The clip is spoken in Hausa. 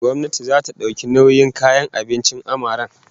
Gwamnati zata dauki nauyin kayan kicin din amaren